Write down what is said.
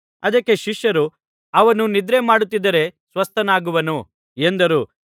ಅದಕ್ಕೆ ಶಿಷ್ಯರು ಅವನು ನಿದ್ರೆ ಮಾಡುತ್ತಿದ್ದರೆ ಸ್ವಸ್ಥನಾಗುವನು ಎಂದರು